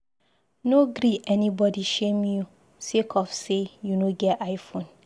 No gree anybodi shame you sake of sey you no get i-phone.